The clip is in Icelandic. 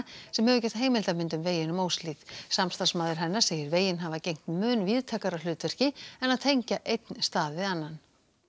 sem hefur gert heimildarmynd um veginn um Óshlíð samstarfsmaður hennar segir veginn hafa gegnt mun víðtækara hlutverki en að tengja einn stað við annan